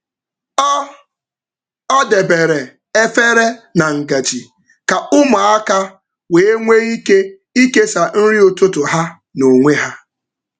Ọ Ọ debere efere na ngaji ka ụmụaka wee nwee ike ikesa nri ụtụtụ um ha n’onwe ha.